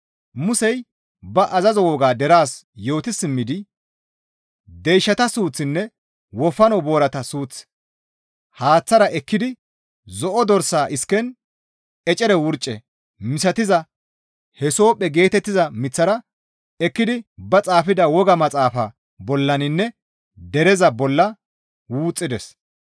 Musey ba azazo wogaa deraas yooti simmidi deyshata suuththinne wofano boorata suuth haaththara ekkidi zo7o dorsa isken ecere wurce misatiza hisophphe geetettiza miththara ekkidi ba xaafida wogaa maxaafa bollaninne dereza bolla wuxxides.